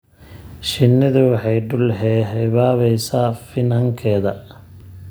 Shinnidu waxay dul heehaabaysaa finankeeda.